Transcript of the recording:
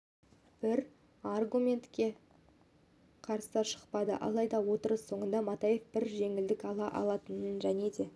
бір аргументке қарсы шықпады алайда отырыс соңында матаев бір рет жеңілдік ала алатынын және де